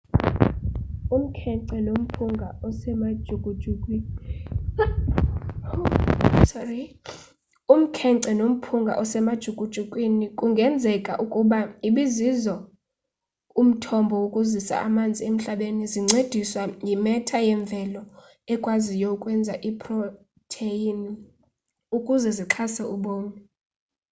umkhence nomphunga osemajukujukwini kungenzeka ukuba ibizizo umthombo wokuzisa amanzi emhlabeni zincendiswa yimetha yemvelo ekwaziyo ukwenza iiprotheyini ukuze zixhase ubomi